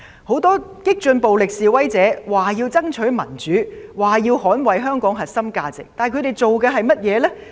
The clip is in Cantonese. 很多激進暴力示威者說要爭取民主、捍衞香港核心價值，但他們所做的是甚麼呢？